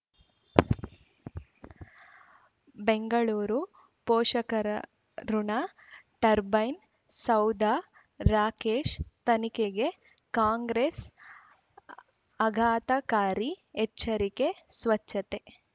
ಬೆಂಗಳೂರು ಪೋಷಕರಋಣ ಟರ್ಬೈನು ಸೌಧ ರಾಕೇಶ್ ತನಿಖೆಗೆ ಕಾಂಗ್ರೆಸ್ ಆಘಾತಕಾರಿ ಎಚ್ಚರಿಕೆ ಸ್ವಚ್ಛತೆ